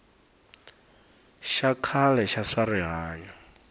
xa khale xa swa rihanyo